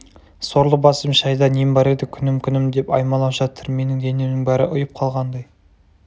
сорлы басым шайда нем бар еді күнім күнім деп аймалап жатыр менің денемнің бәрі ұйып қалғандай